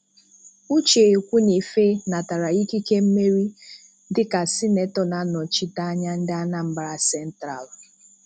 Uche Ekwuinife natara ikike mmeri dịka sinetọ na-anọchite anya ndị Anambara sentralụ.